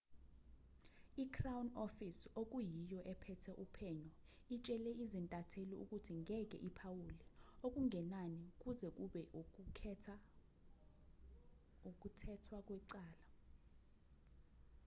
i-crown office okuyiyo ephethe uphenyo itshele izintatheli ukuthi ngeke iphawule okungenani kuze kube ukuthethwa kwecala